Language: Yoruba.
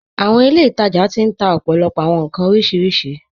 Àwọn ilẹ̀-itaja ti n tà òpó̩lópó̩ àwọn nkàn orísiríṣí.